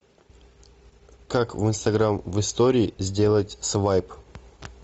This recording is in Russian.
как в инстаграм в истории сделать свайп